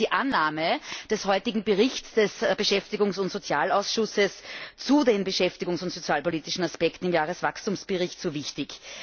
Deshalb ist die Annahme des heutigen Berichts des Beschäftigungs und Sozialausschusses zu den beschäftigungs und sozialpolitischen Aspekten im Jahreswachstumsbericht so wichtig.